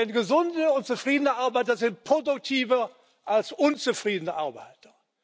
Denn gesunde und zufriedene Arbeiter sind produktiver als unzufriedene Arbeiter.